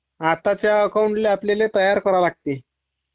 आताच्या अकाउंटल्ये आपल्याला तयार करावे लागते